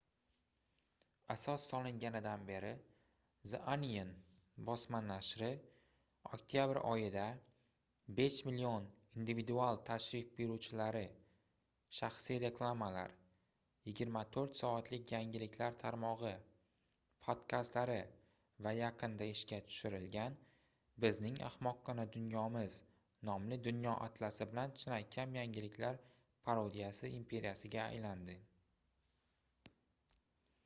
asos solinganidan beri the onion bosma nashri oktyabr oyida 5 000 000 individual tashrif buyuruvchilari shaxsiy reklamalar 24 soatlik yangiliklar tarmogʻi podkastlari va yaqinda ishga tushirilgan bizning ahmoqqina dunyomiz nomli dunyo atlasi bilan chinakam yangiliklar parodiyasi imperiyasiga aylandi